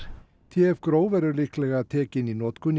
t f verður líklega tekin í notkun